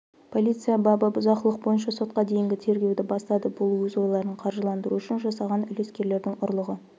полиция бабы бұзақылық бойынша сотқа дейінгі тергеуді бастады бұл өз ойларын қаржыландыру үшін жасаған үлескерлердің ұрлығы